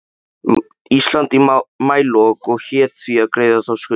Íslands í maílok og hét því að greiða þá skuldina.